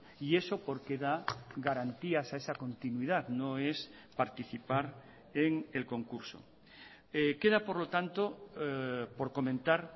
y eso porque da garantías a esa continuidad no es participar en el concurso queda por lo tanto por comentar